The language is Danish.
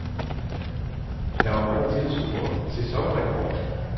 Der var mange tilskuere, sæsonrekord.